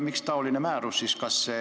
Miks ikkagi selline määrus on sündinud?